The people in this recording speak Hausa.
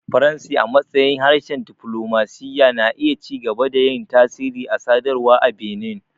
Faransi, a matsayin harshen diflomasiyya, na iya ci gaba da yin tasiri a sadarwa a Benin.